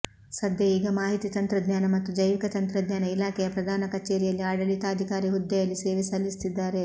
ಸದ್ಯ ಈಗ ಮಾಹಿತಿ ತಂತ್ರಜ್ಞಾನ ಮತ್ತು ಜೈವಿಕ ತಂತ್ರಜ್ಞಾನ ಇಲಾಖೆಯ ಪ್ರಧಾನ ಕಚೇರಿಯಲ್ಲಿ ಆಡಳಿತಾಧಿಕಾರಿ ಹುದ್ದೆಯಲ್ಲಿ ಸೇವೆ ಸಲ್ಲಿಸುತ್ತಿದ್ದಾರೆ